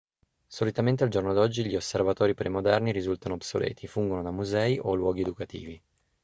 solitamente al giorno d'oggi gli osservatori premoderni risultano obsoleti e fungono da musei o luoghi educativi